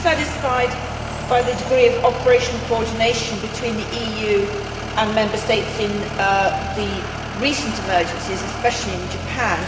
Are you satisfied by the degree of operational coordination between the EU and Member States in the recent emergencies, especially in Japan?